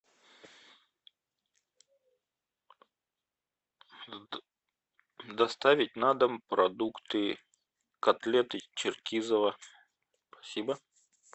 доставить на дом продукты котлеты черкизово спасибо